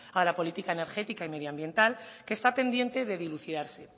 a la política energética y medioambiental que está pendiente de dilucidarse